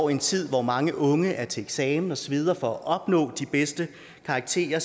en tid hvor mange unge er til eksamen og sveder for at opnå de bedste karakterer